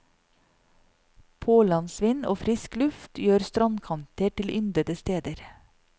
Pålandsvind og frisk luft gjør strandkanter til yndede steder.